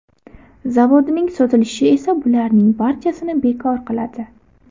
Zavodining sotilishi esa bularning barchasini bekor qiladi .